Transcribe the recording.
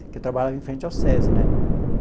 Que eu trabalhava em frente ao SESI, né?